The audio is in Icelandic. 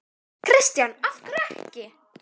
Kristján: Af hverju ekki?